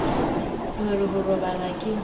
o re ho robala ke